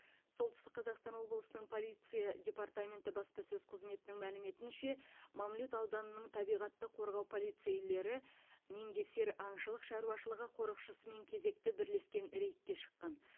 солтүстік қазақстан облысының полиция департаменті баспасөз қызметінің мәліметінше мамлют ауданының табиғатты қорғау полицейлері меңгесер аңшылық шаруашылығы қорықшысымен кезекті бірлескен рейдке шыққан